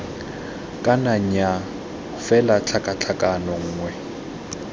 kana nnyaa fela tlhakatlhakano nngwe